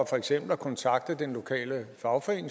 for eksempel at kontakte den lokale fagforening